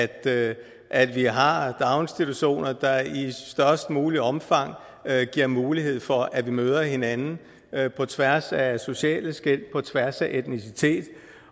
at at vi har daginstitutioner der i størst mulig omfang giver mulighed for at vi møder hinanden på tværs af sociale skel og på tværs af etnicitet